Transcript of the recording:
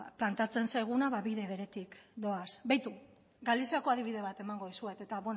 planteatzen zaiguna ba bide beretik doaz begira galiziako adibide bat emango dizuet eta